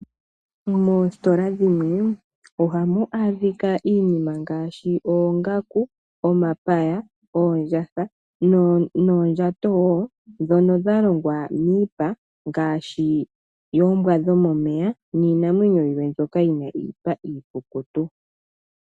Moositola dhimwe ohamu adhika iinima ngaashi oongaku, omapaya, oondjatha noondjato woo ndhono dha longwa miipa ngaashi yoombwa dhomomeya niinamwenyo yimwe mbyoka yi na iipa iikutu.